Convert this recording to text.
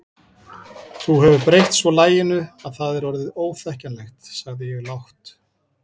Þú hefur breytt svo laginu að það er orðið óþekkjanlegt sagði ég lágt.